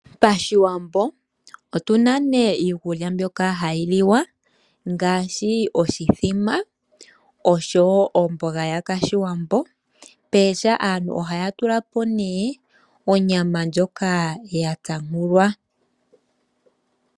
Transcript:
Pashiwambo otuna iikulya mbyoka hayiliwa ngaashi; oshithima, omboga yoshiwambo nopooha aantu ohayatulapo onyama yatsampulwa